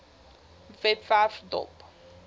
webwerf dop